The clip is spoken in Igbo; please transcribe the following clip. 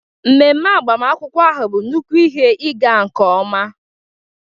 Ememe agbamakwụkwọ ahụ bụ nnukwu ihe ịga nke ọma.